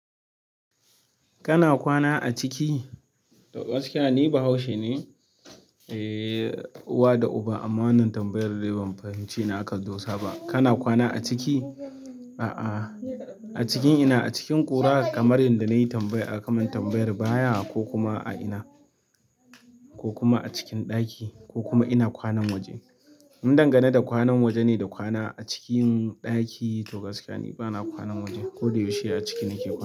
Kana kwana a ciki? To gaskiya ni Bahaushe ne, eh uwa da uba ammanin tambayar dai ban fahimci na akadosa ba. Kana kwana a ciki? A'a acikin ina acikin ƙura kamar yanda nayi tambaya akamin tambayar baya a ina ko kuma acikin ɗaki kuma in kwana a waje mun dangana da kwanan waje ne da kwana a cikin ɗaki to gaskiya ni bana kwanan waje. Ko da yaushe a ciki nake kwana.